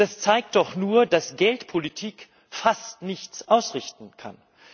Das zeigt doch nur, dass Geldpolitik fast nichts ausrichten kann.